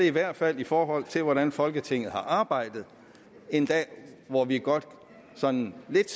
i hvert fald i forhold til hvordan folketinget har arbejdet en dag hvor vi godt sådan lidt